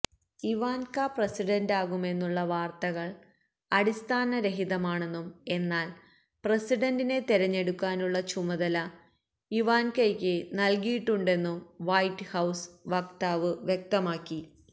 Ivanka പ്രസിഡന്റാകുമെന്നുള്ള വാര്ത്തകള് അടിസ്ഥാന രഹിതമാണെന്നും എന്നാല് പ്രസിഡന്റിന തെരഞ്ഞെടുക്കാനുള്ള ചുമതല ഇവാന്കയ്ക്ക് നല്കിയിട്ടുണ്ടെന്നും വെറ്റ് ഹൌസ് വക്താവ് വ്യക്തമാക്കി